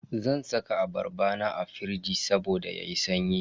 Zan saka abarba na a firij saboda yayi sanyi.